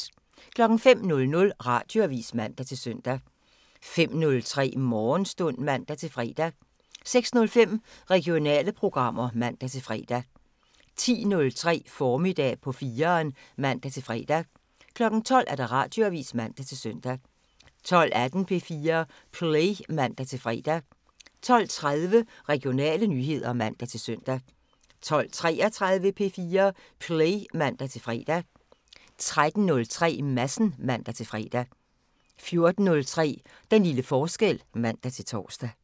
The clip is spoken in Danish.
05:00: Radioavisen (man-søn) 05:03: Morgenstund (man-fre) 06:05: Regionale programmer (man-fre) 10:03: Formiddag på 4'eren (man-fre) 12:00: Radioavisen (man-søn) 12:18: P4 Play (man-fre) 12:30: Regionale nyheder (man-søn) 12:33: P4 Play (man-fre) 13:03: Madsen (man-fre) 14:03: Den lille forskel (man-tor)